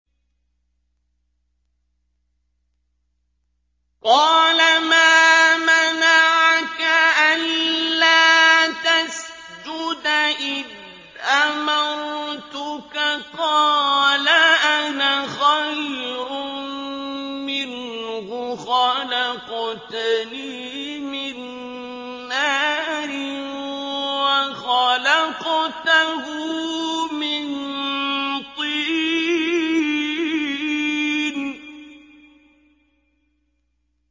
قَالَ مَا مَنَعَكَ أَلَّا تَسْجُدَ إِذْ أَمَرْتُكَ ۖ قَالَ أَنَا خَيْرٌ مِّنْهُ خَلَقْتَنِي مِن نَّارٍ وَخَلَقْتَهُ مِن طِينٍ